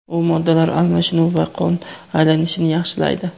U moddalar almashinuvi va qon aylanishini yaxshilaydi.